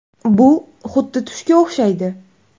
Bu xuddi tushga o‘xshaydi.